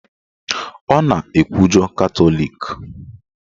Ọ na-ekwujọ Katọlik